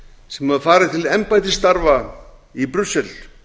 sem hefur farið til embættisstarfa í brussel